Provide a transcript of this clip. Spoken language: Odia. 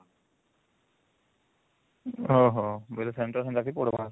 ଓହୋ ଜୋଠେ centre ସେଠି ପଡିବା